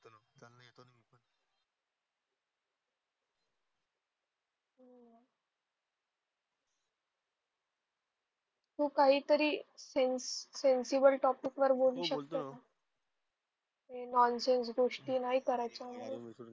तू काहीतरी sense sensible topic वर बोलू शकतो? हे नॉनसेन्स गोष्टी नाही करायच्या माझ्याबरोबर.